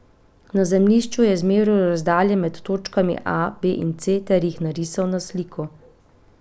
Na zemljišču je izmeril razdalje med točkami A, B in C ter jih narisal na sliko.